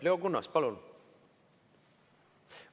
Leo Kunnas, palun!